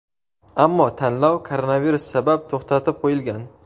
Ammo tanlov koronavirus sabab to‘xtatib qo‘yilgan.